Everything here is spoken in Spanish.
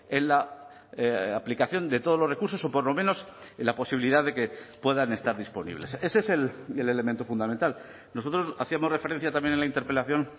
en la aplicación de todos los recursos o por lo menos en la posibilidad de que puedan estar disponibles ese es el elemento fundamental nosotros hacíamos referencia también en la interpelación